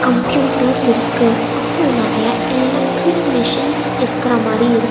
computers இருக்கு அப்ரோ நெறைய எல்லக்ட்ரிக் மிஷின்ஸ் இருக்கற மாரி இரு--